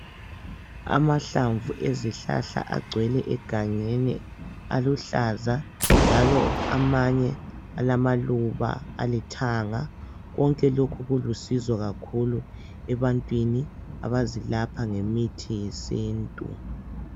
Amahlamvu ezihlahla agcwele egangeni aluhlaza njalo amanye alamaluba alithanga. Konke lokhu kulusizo kakhulu ebantwini abazelapha ngemithi yesintu.